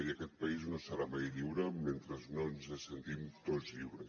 i aquest país no serà mai lliure mentre no ens sentim tots lliures